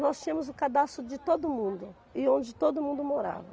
Nós tínhamos o cadastro de todo mundo e onde todo mundo morava.